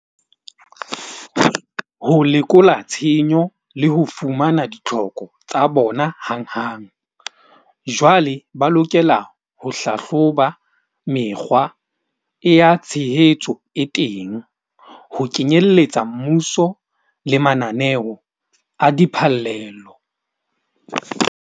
Ho lekola tshenyo le ho fumana ditlhoko tsa bona hanghang. Jwale ba lokela ho hlahloba mekgwa e ya tshehetso e teng. Ho kenyelletsa mmuso le mananeo a diphallelo.